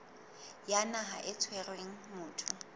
ya naha e tshwereng motho